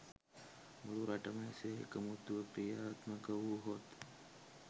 මුළු රටම එසේ එකමුතුව ක්‍රියාත්මක වුවහොත්